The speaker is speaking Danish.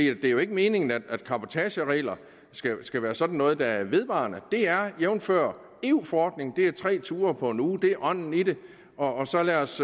er jo ikke meningen at cabotageregler skal være sådan noget der er vedvarende det er jævnfør eu forordningen tre ture på en uge det er ånden i det og så lad os